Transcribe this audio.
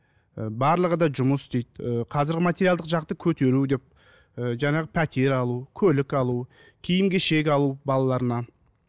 ы барлығы да жұмыс істейді ы қазіргі материалдық жақты көтеру деп ы жаңағы пәтер алу көлік алу киім кешек алу балаларына